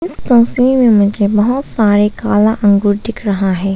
मुझे बहुत सारे काला अंगूर दिख रहा है।